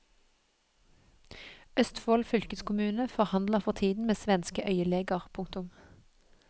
Østfold fylkeskommune forhandler for tiden med svenske øyeleger. punktum